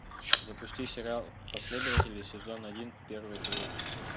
запусти сериал последователи сезон один первый эпизод